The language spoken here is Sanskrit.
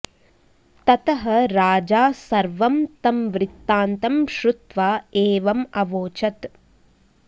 ततः राजा सर्वं तं वृत्तान्तं श्रुत्वा एवम् अवोचत्